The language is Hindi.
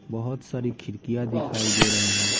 बहुत सारी खिड़कियां दिखाई दे रही हैं।